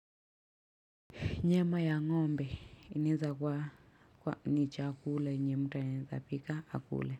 Nyama ya ngombe inaeza kuwa ni chakula yenye mtu anaezapika akule.